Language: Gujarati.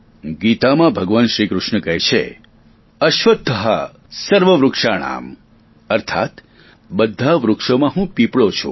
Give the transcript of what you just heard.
ગીતામાં ભગવાન શ્રીકૃષ્ણ કહે છે સ્વશ્વત્થઃ સર્વવૃક્ષાણાં અર્થાત બધા વૃક્ષોમાં હું પીપળો છું